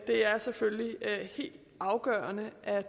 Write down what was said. er selvfølgelig helt afgørende at